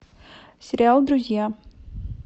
сериал друзья